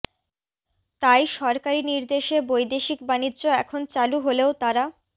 তাই সরকারি নির্দেশে বৈদেশিক বানিজ্য এখন চালু হলেও তারা